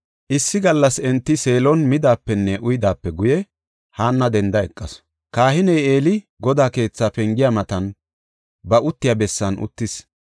Issi gallas enti Seelon midaapenne uyidaape guye, Haanna denda eqasu. Kahiney Eeli Godaa keetha pengiya matan ba uttiya bessan uttis.